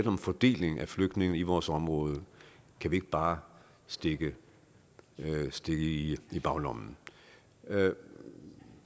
om fordelingen af flygtninge i vores område kan vi ikke bare stikke i i baglommen alle